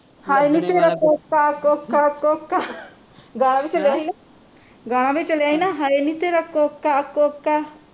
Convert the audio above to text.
ਹਾਏ ਨੀ ਤੇਰਾ ਕੋਕਾ ਕੋਕਾ ਕੋਕਾ ਗਾਣਾ ਵੀ ਚਲਿਆ ਸੀ ਨਾ ਗਾਣਾ ਵੀ ਚਲਿਆ ਸੀ ਨਾ ਹਾਏ ਨੀ ਤੇਰਾ ਕੋਕਾ ਕੋਕਾ